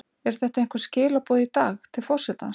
Eru þetta einhver skilaboð í dag, til forsetans?